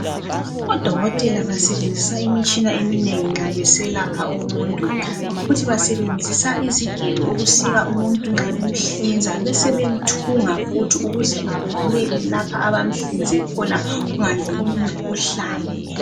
Odokotela basebenzisa imitshina eminengi nxa beselapha umuntu futhi basebenzisa izigelo ukusika umuntu nxa bemhliza besebemthunga futhi ukuze avaleke lapha abamhlinze khona ukuthi kungangeni imkhuhlane.